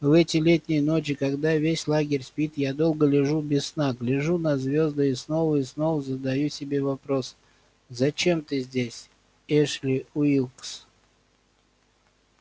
в эти летние ночи когда весь лагерь спит я долго лежу без сна гляжу на звезды и снова и снова задаю себе вопрос зачем ты здесь эшли уилкс